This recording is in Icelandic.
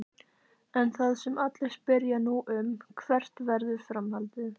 En það sem allir spyrja nú um: Hvert verður framhaldið?